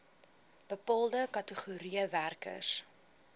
bepaalde kategorieë werkers